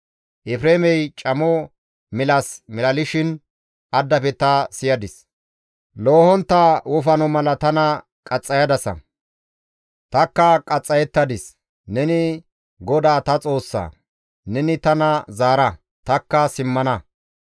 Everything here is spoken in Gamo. «Efreemey camo milas milalishin addafe ta siyadis; ‹Loohontta wofano mala tana qaxxayadasa; tanikka qaxxayettadis; neni GODAA ta Xoossa; neni tana zaara; tanikka simmana.